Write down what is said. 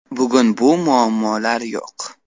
Bugun bu muammolar yo‘q.